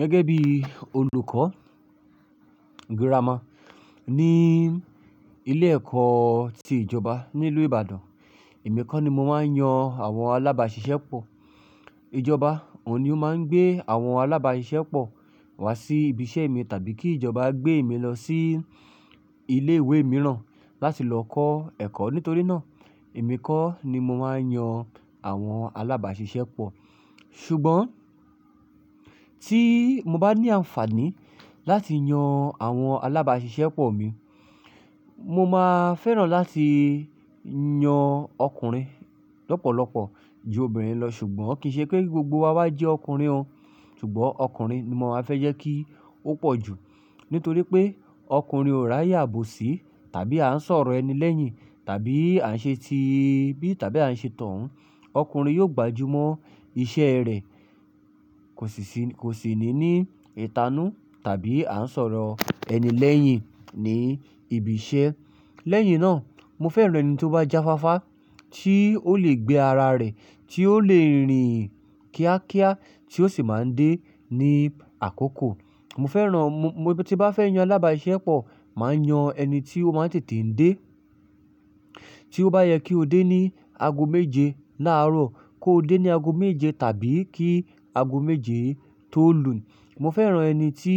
Gẹ́gẹ́ bí olùkọ́ girama ní ilé ẹ̀kọ́ ti ìjọba nílùú Ìbàdàn, èmi kọ́ ni mo máa ń yan àwọn alábàáṣiṣẹ́ pọ̀. Ìjọba ò ní ó máa ń gbé àwọn alábàáṣiṣẹ́ pọ̀ wá sí ibi iṣẹ́ mi tàbí kí ìjọba gbé mi lọ sí ilé ìwé mìíràn láti lọ kọ́ ẹ̀kọ́. Nítorí náà, èmi kọ́ ni mo máa ń yan àwọn alábàáṣiṣẹ́ pọ̀. Ṣùgbọ́n tí mo bá ní àǹfààní láti yan àwọn alábàáṣiṣẹ́ pọ̀ mi, mo máa fẹ́ràn láti yan ọkùnrin lọ́pọ̀lọpọ̀ ju obìnrin lọ. Ṣùgbọ́n kì í ṣe pé gbogbo wa wà jẹ́ ọkùnrin o. Ṣùgbọ́n ọkùnrin ní mo má fẹ́ jẹ́ ki o pọ̀ jú, nítorí pe ọkùnrin o rí ayé ibosi tàbí a ṣòro ẹni. Lẹ́yìn tàbí a ṣẹ́ ti bí tàbí a se torun. Ọkùnrin yóò gbajúmọ̀ iṣẹ́ rẹ̀, kò sì sí, kò sì ní ní ìtanú tàbí à ń sọ̀rọ̀ ẹni lẹ́yìn ní ibi iṣẹ́. Lẹ́yìn náà, mo fẹ́ràn ẹni tí ó bá jáfáfá, tí ó lè gbé ara rẹ̀, tí ó lè rìn kíákíá, tí ó sì máa ń dé ní àkókò. Mo fẹ́ràn, mo, mo tí bá fẹ́ yan alábàáṣiṣẹ́ pọ̀, màá yan ẹni tí ó máa ń tètè ń dé. Tí ó bá yẹ kí ó dé ní ago méje láàárọ̀ kó dé ní ago méje tàbí kí ago méje tó lù ú. Mo fẹ́ràn ẹni tí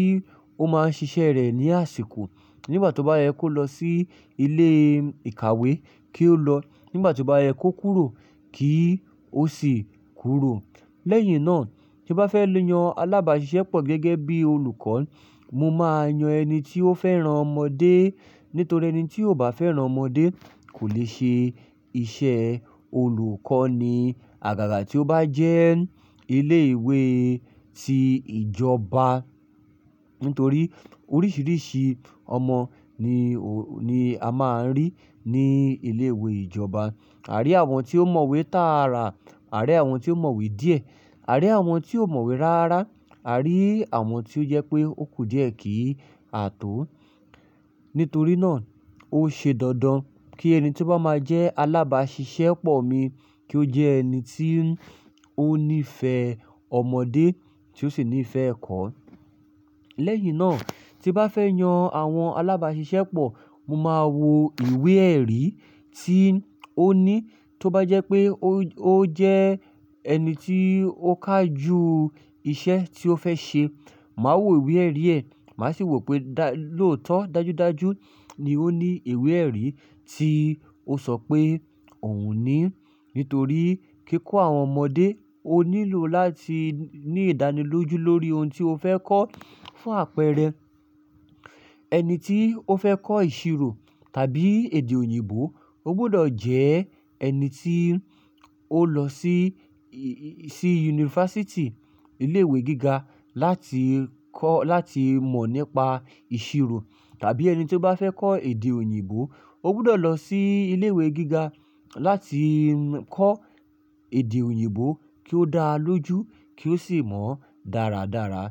ó máa ń ṣiṣẹ́ rẹ̀ ní àsìkò. Nígbà tí ó bá yẹ kó lọ sí ilé ìkàwé kí ó lọ. Nígbà tí ó bá yẹ kó kúrò kí ó sì kúrò. Lẹ́yìn náà, tí bá fẹ́ yan alábàáṣiṣẹ́ pọ̀ gẹ́gẹ́ bí olùkọ́, mo máa yan ẹni tí ó fẹ́ran ọmọdé. Nítorí ẹni tí ò bá fẹ́ràn ọmọdé kò lè ṣe iṣẹ́ olùkọ́ní àgàgà tí ó bá jẹ́ ilé ìwé ti ìjọba. Nítorí oríṣiríṣi ọmọ ni o, ni a máa ń rí ní ilé ìwé ìjọba. A rí àwọn tí ó mọ̀wé tààrà, a rí àwọn tí ó mọ̀wé díẹ̀, a rí àwọn tí ó mọ̀wé ráárá, a rí àwọn tí ó jẹ́ pé ó kù díẹ̀ kí àtọ́. Nítorí náà, ó ṣe dandan kí ẹni tí ó bá máa jẹ́ alábàáṣiṣẹ́ pọ̀ mi kí ó jẹ́ ẹni tí ó ní ìfẹ́ ọmọdé tí ó sì ní ìfẹ́ ẹ̀kọ́. Lẹ̀yìn náà, tí ń bá fẹ́ yàn àwọn alábáṣiṣẹ́pọ̀, mo má wo ìwé ẹ̀rí tó ní tí ó bá jẹ́ pé ó, ó jẹ́ ẹni tí ó kaju ìṣe tí ó fẹ́ ṣe, màá wo ìwé ẹ̀rí rẹ̀. Màá sì wò pé dá, lóòótọ́ dájúdájú ni ó ní ìwé ẹ̀rí tí ó sọ pé òun ní. Nítorí kí kó àwọn ọmọdé, ó nílò láti ní ìdánilójú lórí ohun tí ó fẹ́ kọ́ fún àpẹẹrẹ. Ẹni tí ó fẹ́ kọ́ ìṣirò tàbí èdè òyìnbó, ó gbọ́dọ̀ jẹ́ ẹni tí ó lọ sí, sí yunifásítì, ilé ìwé gíga láti kọ́, láti mọ̀ nípa ìṣirò. Tàbí ẹni tí ó bá fẹ́ kọ́ èdè òyìnbó, ó gbọ́dọ̀ lọ sí ilé ìwé gíga láti kọ́ èdè òyìnbó kí ó dáa lójú kí ó sì mọ̀ dáradára.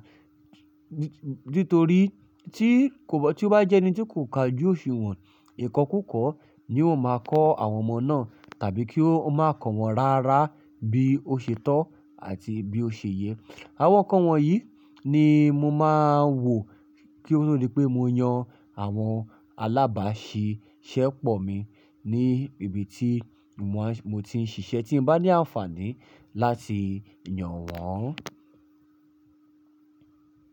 Nítorí tí kò bá, tí ó bá jẹ́ ẹni tí kò kà ju òṣùwọ̀n, ìkọ́ kú kọ́ ni ó máa kọ́ àwọn ọmọ náà tàbí kí ó máa kọ́ wọn ráárá bí ó ṣe tọ́ àti bí ó ṣe yẹ. Àwọn ǹkan wọ̀nyí ni mo máa ń wò kí ó tó di pé mo yan àwọn alábàáṣiṣẹ́pọ̀ mi ní ibi tí mo máa ń, mo ti ń ṣiṣẹ́ tí bá ní àǹfààní láti yan wọ́n.